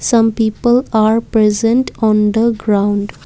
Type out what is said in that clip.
some people are present on the ground.